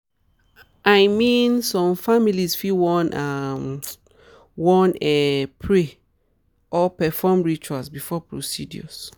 i mean some families fit wan ah wan ah pray or perform rituals before procedures.